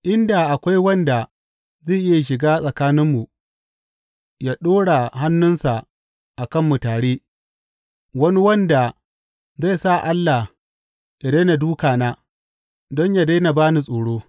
In da akwai wanda zai iya shiga tsakaninmu, ya ɗora hannunsa a kanmu tare, wani wanda zai sa Allah yă daina duka na, don yă daina ba ni tsoro.